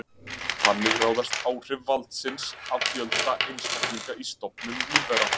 Þannig ráðast áhrif valsins af fjölda einstaklinga í stofnum lífvera.